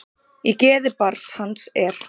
Í geði barn hans er.